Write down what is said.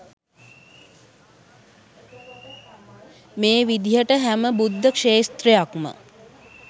මේ විදියට හැම බුද්ධක්ෂේත්‍රයක්ම